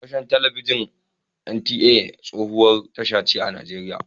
Gidan talabijin na NTA tsohuwar tasha ce a nigeriya.